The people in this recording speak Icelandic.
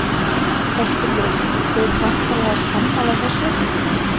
Höskuldur: Þú ert væntanlega sammála þessu?